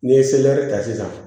N'i ye ta sisan